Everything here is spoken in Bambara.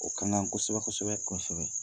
O ka ŋan kosɛbɛ-kosɛbɛ. Kɔɔsɛbɛ.